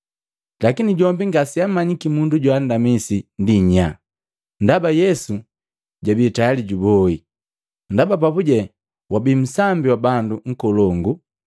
Lakini jombi ngaseamanyiki mundu joandamisi ndi nyaa, ndaba Yesu jabii tayali juboi, ndaba papuje wabii nsambi wa bandu nkolongu.